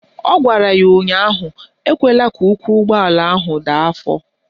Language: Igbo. Ọ gwara ya ụnyaahụ "Ekwela ka ụkwụ ụgbọala ahụ daa afọ"!